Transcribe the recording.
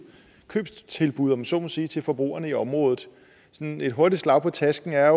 købstilbud om jeg så må sige til forbrugerne i området sådan et hurtigt slag på tasken er